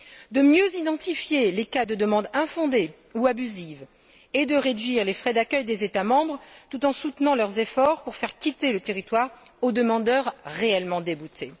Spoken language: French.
de mieux identifier les cas de demandes infondées ou abusives et de réduire les frais d'accueil des États membres, tout en soutenant leurs efforts pour faire quitter le territoire aux demandeurs réellement déboutés.